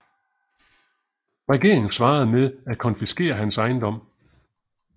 Regeringen svarede med at konfiskere hans ejendom